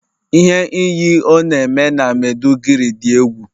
Ihe iyi ọh na eme na Maiduguri dị egwu